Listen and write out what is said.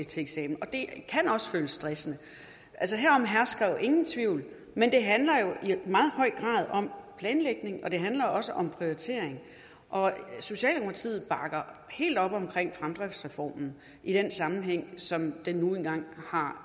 til eksamen og det kan også føles stressende herom hersker ingen tvivl men det handler jo i meget høj grad om planlægning og det handler også om prioritering og socialdemokratiet bakker helt op omkring fremdriftsreformen i den sammenhæng som den nu engang har